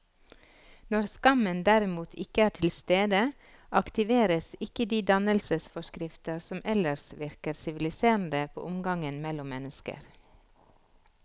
Når skammen derimot ikke er til stede, aktiveres ikke de dannelsesforskrifter som ellers virker siviliserende på omgangen mellom mennesker.